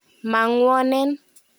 Ma ng'wonen.